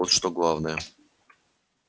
урожай вот что главное